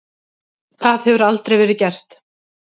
Það hefur aldrei verið gert.